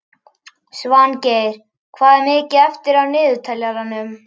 Svangeir, hvað er mikið eftir af niðurteljaranum?